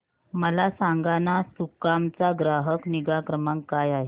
मला सांगाना सुकाम चा ग्राहक निगा क्रमांक काय आहे